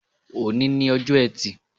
Òní ni ojọ́ ẹtì